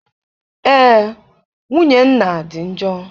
Ee, nwunye nna dị njọ.